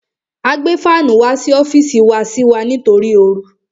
A gbé fánù wá sí ọ́fìsì wá sí wa nítorí oru.